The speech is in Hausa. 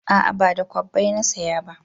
A'a ba da kwabbai na saya ba